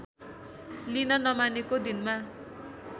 लिन नमानेको दिनमा